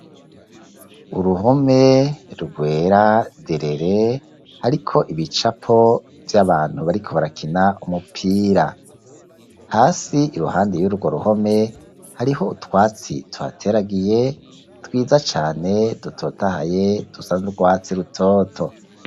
Uruhome rwera derere hariko ibicapo vy'abantu bariko barakina umupira, hasi iruhande y'urwo ruhome hariho utwatsi tuhateragiye twiza cane dutotahaye dusa n'urwatsi rutoto.